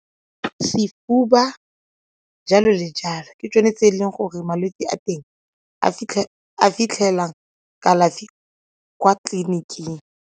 Sefuba, jalo le jalo, ke tsone tse e leng gore malwetse a teng a fitlhela kalafi kwa tleliniking.